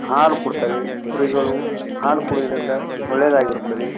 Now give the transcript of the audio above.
ಹಾಲು ಕೊಡ್ತವೆ ಕುರಿಗಳು ಹಾಲು ಕುಡಿಯೋದರಿಂದ ಒಳ್ಳೇದಾಗುತ್ತದ್ದೆ.